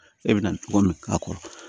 E bɛna cogo min k'a kɔrɔ